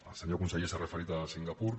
el senyor conseller s’ha referit a singapur